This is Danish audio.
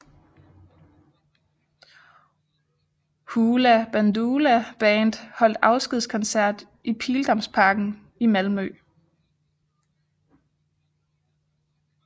Hoola Bandoola Band holdt afskedskoncert i Pildammsparken i Malmö